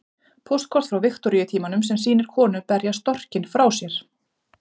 Póstkort frá Viktoríutímanum sem sýnir konu berja storkinn frá sér.